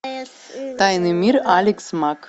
тайный мир алекс мак